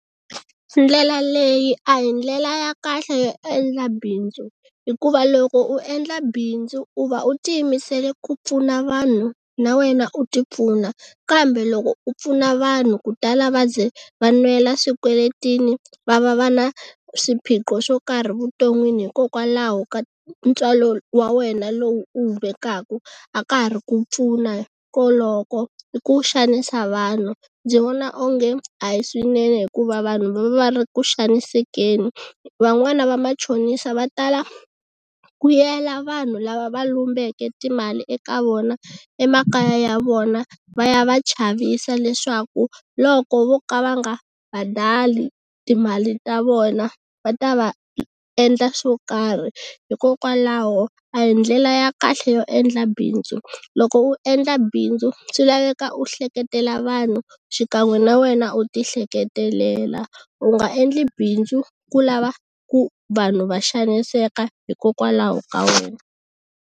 Ndlela leyi a hi ndlela ya kahle yo endla bindzu hikuva loko u endla bindzu u va u ti yimisele ku pfuna vanhu na wena u ti pfuna kambe loko u pfuna vanhu ku tala va ze va nwela swikweletini va va va na swiphiqo swo karhi vuton'wini hikokwalaho ka ntswalo wa wena lowu u wu vekaka a ka ha ri ku pfuna koloko i ku xanisa vanhu. Ndzi vona onge a hi swinene hikuva vanhu va va va ri ku xanisekeni van'wani va machonisa va tala ku yela vanhu lava va lombeke timali eka vona emakaya ya vona va ya va chavisa leswaku loko vo ka va nga badali timali ta vona va ta va endla swo karhi hikokwalaho a hi ndlela ya kahle yo endla bindzu. Loko u endla bindzu swi laveka u hleketelela vanhu xikan'we na wena u ti hleketelela u nga endli bindzu ku lava ku vanhu va xaniseka hikokwalaho ka wena.